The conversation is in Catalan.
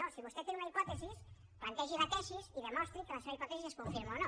no si vostè té una hipòtesi plantegi la tesi i demostri que la seva hipòtesi es confirma o no